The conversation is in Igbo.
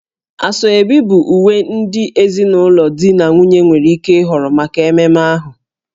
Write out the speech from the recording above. Asoebi bụ uwe ndị ezinụlọ di na nwunye nwere ike ịhọrọ maka mmemme ahụ